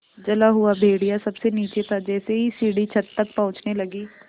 जला हुआ भेड़िया सबसे नीचे था जैसे ही सीढ़ी छत तक पहुँचने लगी